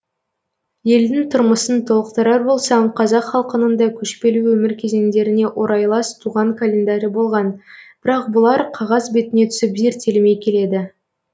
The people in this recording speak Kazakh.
елдің тұрмысын толықтырар болсам қазақ халқының да көшпелі өмір кезеңдеріне орайлас туған календары болған бірақ бұлар қағаз бетіне түсіп зерттелмей келеді